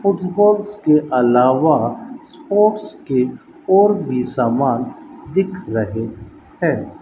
Footballs के अलावा sports के और भी सामान दिख रहे हैं।